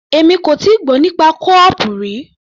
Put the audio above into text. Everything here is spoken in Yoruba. Èmi kò tíì gbọ́ nípa kó-ọọ̀pù rí.